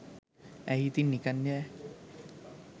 ඇයි ඉතින් නිකන් යෑ